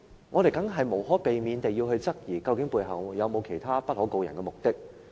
我們無可避免地會質疑背後有否其他不可告人的目的。